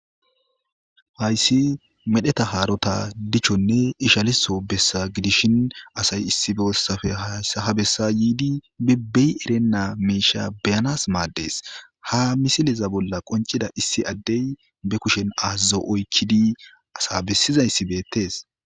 Hayssi medheta haarota dichchonne ishaliso bessa gidishin asay issibessafe habessa yiidi bibbey erenna meisha beyanas maaddees ha misileza bolla qoncida issi addey be kushen azaza oykkidi asa bessiza issi beettes.